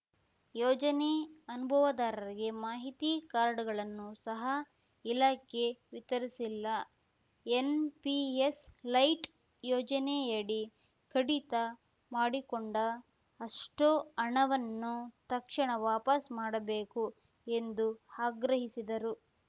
ಯೋಜನೆ ಅನುಭವದಾರರಿಗೆ ಮಾಹಿತಿ ಕಾಡ್‌ರ್‍ಗಳನ್ನೂ ಸಹ ಇಲಾಖೆ ವಿತರಿಸಿಲ್ಲ ಎನ್‌ಪಿಎಸ್‌ ಲೈಟ್‌ ಯೋಜನೆಯಡಿ ಕಡಿತ ಮಾಡಿಕೊಂಡ ಅಷ್ಟೂಹಣವನ್ನು ತಕ್ಷಣ ವಾಪಾಸ್ ಮಾಡಬೇಕು ಎಂದು ಆಗ್ರಹಿಸಿದರು